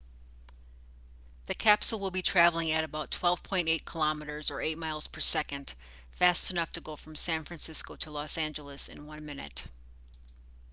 the capsule will be traveling at about 12.8 km or 8 miles per second fast enough to go from san francisco to los angeles in one minute